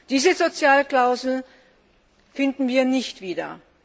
Diese Sozialklausel finden wir nicht wieder.